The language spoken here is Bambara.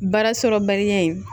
Baara sɔrɔbaliya in